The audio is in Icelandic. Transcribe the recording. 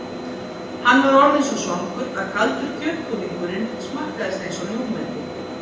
Hann var orðinn svo svangur að kaldur kjötbúðingurinn smakkaðist einsog ljúfmeti.